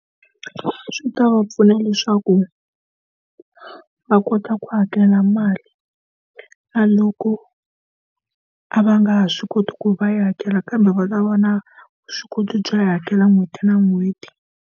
Swi ta va pfuna leswaku va kota ku hakela mali, na loko a va nga ha swi koti ku va yi hakela kambe va ta va na vuswikoti byo yi hakela n'hweti na n'hweti.